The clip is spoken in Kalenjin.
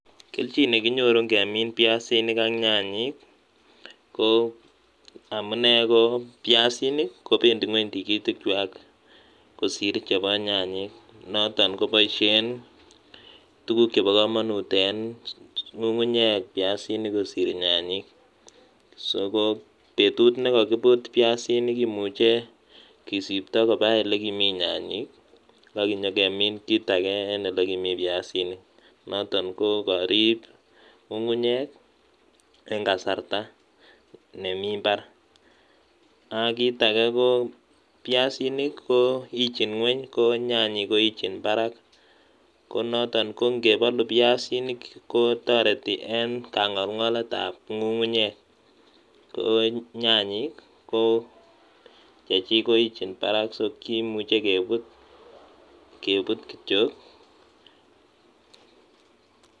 Kelchin nekinyoru ngemiin piasinik ak nyanyek ko amune ko piasinik kobendi ingweny tigitikwach kosiir chebo nyanyek, noton kopoishen tuguk chebo kamanut eng ng'ung'unyek piasinik kosiir nyanyek, so petut nekakiput piasinik komuche kesipta likimi nyanyek akipekemin kiit age eng likimi piasinik, noton kokarip ng'ung'unyek eng kasarta nemi imbaar ak kiit age ko piasinik koichiin ng'weny ko nyanyek koichiin barak. ko noton ko ngepalu piasinik kotoreti eng kangolngoletab ng'ung'unyek, ko nyanyek ko chechiik koichiin barak so kimuche keput kityo.